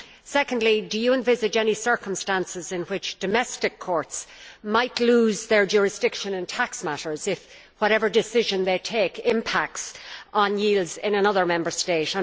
Secondly, do you envisage any circumstances in which domestic courts might lose their jurisdiction in tax matters if whatever decision they take impacts on yields in another Member State?